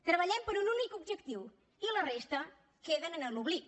treballem per un únic objectiu i la resta queda en l’oblit